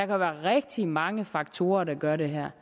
være rigtig mange faktorer der gør det her